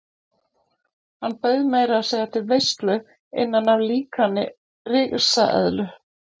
Hann bauð meira að segja til veislu innan í líkani af risaeðlu.